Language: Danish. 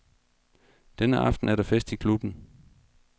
Denne aften er der fest i klubben.